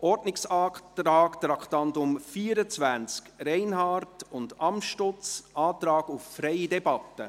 Zum Ordnungsantrag zu Traktandum 24, Reinhard und Amstutz, Antrag auf freie Debatte: